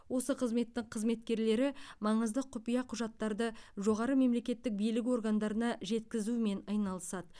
осы қызметтің қызметкерлері маңызды құпия құжаттарды жоғары мемлекеттік билік органдарына жеткізумен айналысады